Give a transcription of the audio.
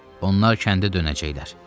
Onlar kəndə dönəcəklər.